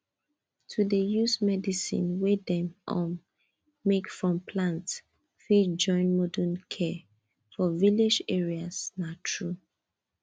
to dey use medicine wey dem um make from plant fit join modern care for village areas na true